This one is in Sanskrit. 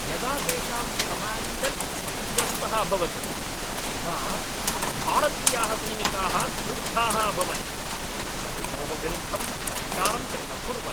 यदा तेषां कमाण्डर् क्षतिग्रस्तः अभवत् तदा भारतीयाः सैनिकाः क्रुद्धाः अभवन्, शत्रोः विरुद्धं प्रतिकारं च अकुर्वन्।